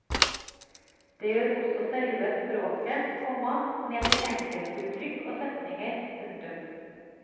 Det gjør også selve språket, komma ned til enkeltuttrykk og setninger. punktum